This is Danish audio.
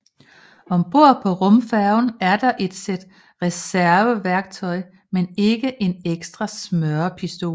Om bord på rumfærgen er der et sæt reserveværktøj men ikke en ekstra smørepistol